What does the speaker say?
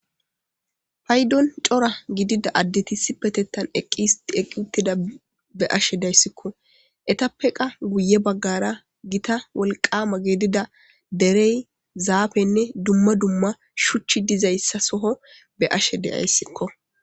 Paydon c'ora gidida addeti isipetettan eqqi histi eqqi uttida be'ashe dayssikko etappe qa guye bagara gita wolqama gidida derey zafenne duma duma shuchchi dizaysa soho be'ashe de'aysiko.